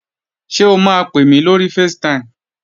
Ṣé o máa pè mí lórí facetime?